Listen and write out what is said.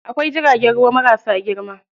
Akwai jiragen ruwa marasa girma.